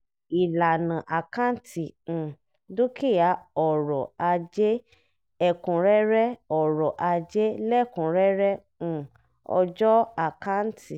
ìlànà àkáǹtì um dúkìá ọrọ̀ ajél ẹ̀kúnrẹ́rẹ́ ọrọ̀ ajél ẹ̀kúnrẹ́rẹ́ um ọjọ́ àkáǹtì.